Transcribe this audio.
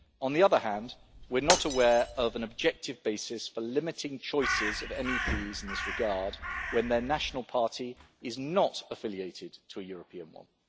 On the other hand, we are not aware of an objective basis for limiting choices of MEPs in this regard when their national party is not affiliated to a European one.